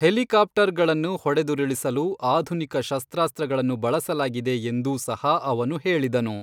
ಹೆಲಿಕಾಪ್ಟರ್ಗಳನ್ನು ಹೊಡೆದುರುಳಿಸಲು ಆಧುನಿಕ ಶಸ್ತ್ರಾಸ್ತ್ರಗಳನ್ನು ಬಳಸಲಾಗಿದೆ ಎಂದೂ ಸಹ ಅವನು ಹೇಳಿದನು.